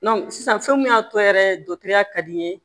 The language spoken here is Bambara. sisan fɛn mun y'a tɔ yɛrɛ ya ka di n ye